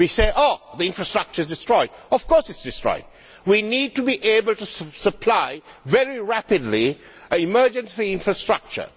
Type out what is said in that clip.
We say, oh, the infrastructure is destroyed. Of course it is destroyed. We need to be able to supply very rapidly an emergency infrastructure.